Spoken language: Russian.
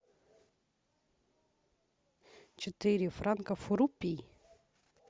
четыре франка в рупии